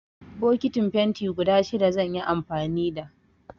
Bokitin fenti guda shida zan yi amfani da.